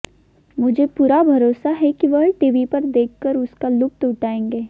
मुझे पूरा भरोसा है कि वह टीवी पर देखकर उसका लुत्फ उठाएंगे